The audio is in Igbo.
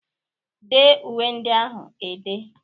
Dee uwe ndị ahụ e dee!